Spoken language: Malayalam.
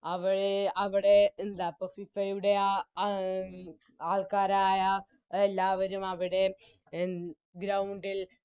അവരെ അവിടെ എന്തായിപ്പോ FIFA യുടെ ആ ആൾക്കാരായ എല്ലാവരും അവിടെ ഉം Ground ൽ